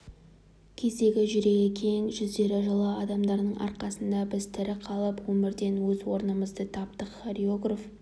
кездегі жүрегі кең жүздері жылы адамдардың арқасында біз тірі қалып өмірден өз орнымызды таптық хореограф